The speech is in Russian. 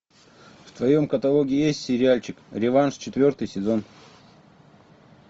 в твоем каталоге есть сериальчик реванш четвертый сезон